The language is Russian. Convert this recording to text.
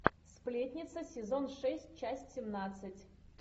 сплетница сезон шесть часть семнадцать